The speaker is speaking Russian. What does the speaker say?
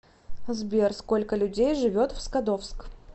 сбер сколько людей живет в скадовск